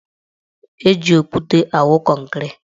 Eji okwute awụ kọnkịrị.